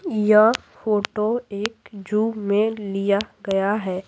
यह फोटो एक जू में लिया गया है।